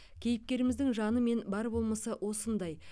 кейіпкеріміздің жаны мен бар болмысы осындай